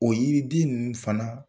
O yiriden ninnu fana.